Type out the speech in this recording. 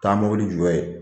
Taa mobili jɔ yen